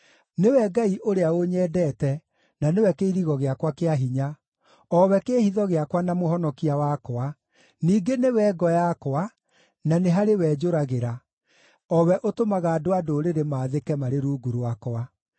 Nĩwe Ngai ũrĩa ũnyendete, na nĩwe kĩirigo gĩakwa kĩa hinya, o we kĩĩhitho gĩakwa na mũhonokia wakwa, ningĩ nĩwe ngo yakwa, na nĩ harĩ we njũragĩra, o we ũtũmaga andũ a ndũrĩrĩ maathĩke marĩ rungu rwakwa.